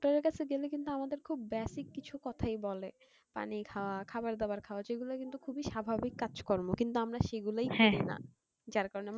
ডাক্তারের কাছে গেলে কিন্তু আমাদের basic কিছুই কথা বলে মানে পানি খাও খাবার দাবার খাওয়া যেগুলো কিন্তু খুবই স্বাভাবিক কাজ কর্ম কিন্তু আমরা সেগুলোই করিনা